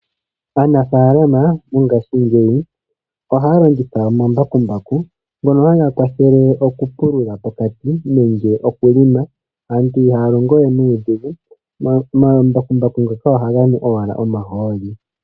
Aanafalama mongashingeyi ohaa longitha omambakumbaku ngono haga kwathele oku pulula pokati . Aantu ihaya longo we nuudhingu. Omambakumbaku ngoka ohaga nu owala omahooli.